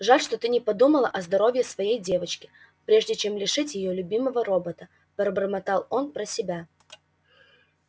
жаль что ты не подумала о здоровье своей девочки прежде чем лишить её любимого робота пробормотал он про себя